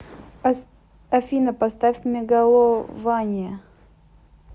афина поставь мегалования